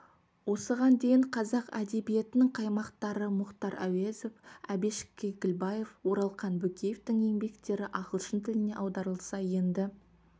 осыған дейін қазақ әдебиетінің қаймақтары мұхтар әуезов әбіш кекілбаев оралхан бөкеевтің еңбектері ағылшын тіліне аударылса енді